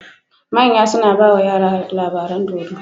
Manya suna bawa yara labaran dodo